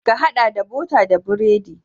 Ka haɗa da bota da biredi.